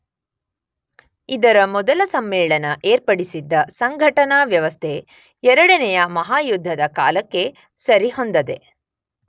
ಇದರ ಮೊದಲ ಸಮ್ಮೇಳನ ಏರ್ಪಡಿಸಿದ್ದ ಸಂಘಟನಾ ವ್ಯವಸ್ಥೆ ಎರಡನೆಯ ಮಹಾಯುದ್ಧದ ಕಾಲಕ್ಕೆ ಸರಿಹೊಂದದೆ